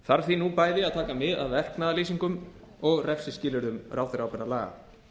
þarf því nú bæði að taka mið af verknaðarlýsingum og refsiskilyrðum ráðherraábyrgðarlaga